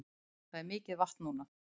Það er mikið vatn núna